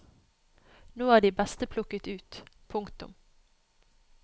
Nå er de beste plukket ut. punktum